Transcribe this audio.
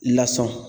Lasunɔgɔ